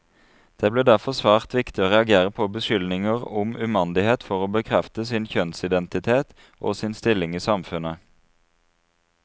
Det ble derfor svært viktig å reagere på beskyldninger om umandighet for å bekrefte sin kjønnsidentitet, og sin stilling i samfunnet.